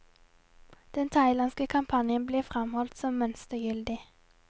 Den thailandske kampanjen blir fremholdt som mønstergyldig.